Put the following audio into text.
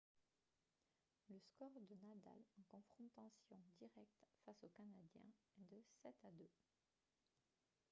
le score de nadal en confrontations directes face au canadien est de 7-2